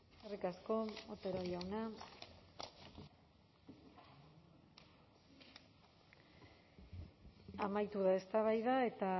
eskerrik asko otero jauna amaitu da eztabaida eta